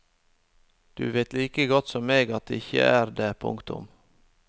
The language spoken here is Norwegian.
Du vet like godt som meg at det ikke er det. punktum